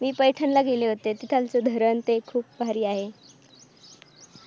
मी पैठणला गेले होते तिथं ते धरण खूप भारी आहे.